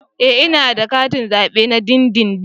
Ee ina da katin zabe na dindindin